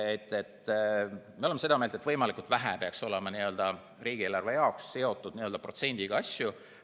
Me oleme seda meelt, et võimalikult vähe peaks olema riigieelarve seotud n‑ö protsendiga asjadega.